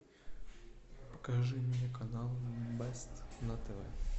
покажи мне канал бест на тв